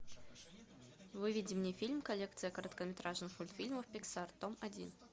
выведи мне фильм коллекция короткометражных мультфильмов пиксар том один